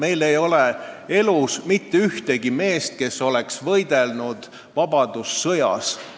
Enam pole elus mitte ühtegi meest, kes oleks võidelnud vabadussõjas.